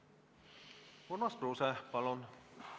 Urmas Kruuse, palun!